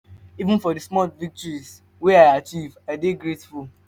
even for di small victories wey i achieve i dey grateful.